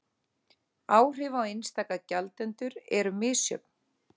Áhrif á einstaka gjaldendur eru misjöfn